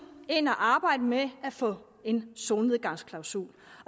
ind og arbejde med at få en solnedgangsklausul